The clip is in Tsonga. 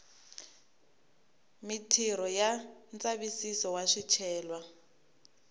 mitirho ya ndzavisiso wa swicelwa